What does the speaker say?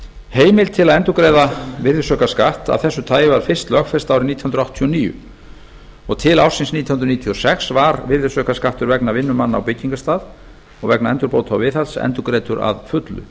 heimild til að endurgreiða virðisaukaskatts af þessu tagi var fyrst lögfest árið nítján hundruð áttatíu og níu til ársins nítján hundruð níutíu og sex var virðisaukaskattur vegna vinnu manna á byggingarstað og vegna endurbóta og viðhalds endurgreiddur að fullu